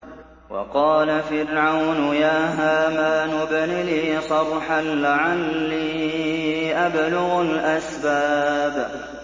وَقَالَ فِرْعَوْنُ يَا هَامَانُ ابْنِ لِي صَرْحًا لَّعَلِّي أَبْلُغُ الْأَسْبَابَ